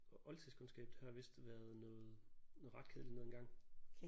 Og oldtidskundskab det har vist været noget noget ret kedeligt noget engang